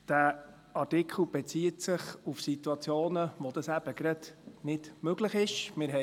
Dieser Artikel bezieht sich auf Situationen, wo das eben gerade nicht möglich ist.